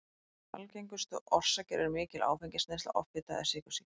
Algengustu orsakir eru mikil áfengisneysla, offita eða sykursýki.